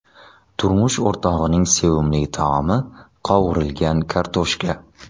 Turmush o‘rtog‘ining sevimli taomi qovurilgan kartoshka.